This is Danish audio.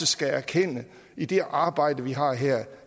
skal erkende i det arbejde vi har her